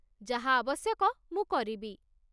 ଯାହା ଆବଶ୍ୟକ ମୁଁ କରିବି